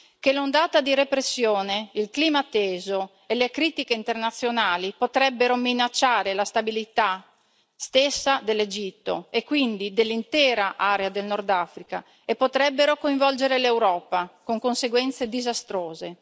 che l'ondata di repressione, il clima teso e le critiche internazionali potrebbero minacciare la stabilità stessa dell'Egitto e quindi dell'intera area del Nordafrica e potrebbero coinvolgere l'Europa, con conseguenze disastrose.